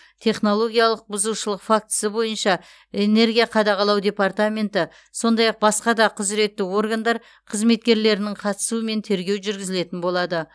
технологиялық бұзушылық фактісі бойынша энергия қадағалау департаменті сондай ақ басқа да құзыретті органдар қызметкерлерінің қатысуымен тергеу жүргізілетін болады